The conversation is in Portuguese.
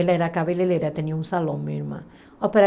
Ela era cabeleireira, tinha um salão, minha irmã.